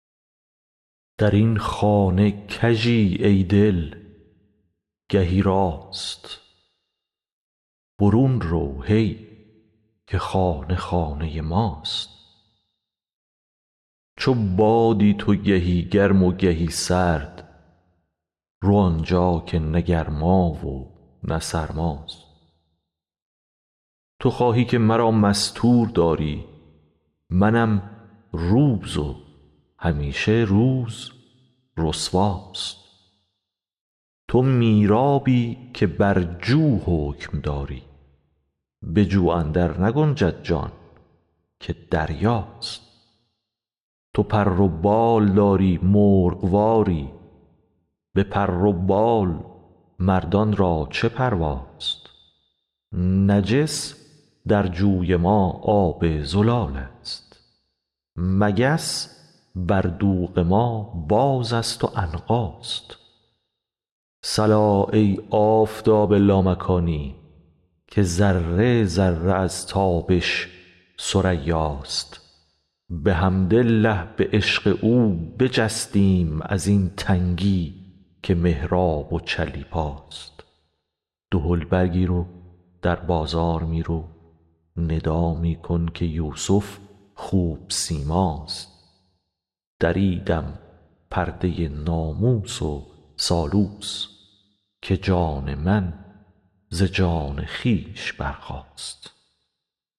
در این خانه کژی ای دل گهی راست برون رو هی که خانه خانه ماست چو بادی تو گهی گرم و گهی سرد رو آن جا که نه گرما و نه سرماست تو خواهی که مرا مستور داری منم روز و همیشه روز رسواست تو میرابی که بر جو حکم داری به جو اندرنگنجد جان که دریاست تو پر و بال داری مرغ واری به پر و بال مردان را چه پرواست نجس در جوی ما آب زلالست مگس بر دوغ ما بازست و عنقاست صلا ای آفتاب لامکانی که ذره ذره از تابش ثریاست بحمدالله به عشق او بجستیم از این تنگی که محراب و چلیپاست دهل برگیر و در بازار می رو ندا می کن که یوسف خوب سیماست دریدم پرده ناموس و سالوس که جان من ز جان خویش برخاست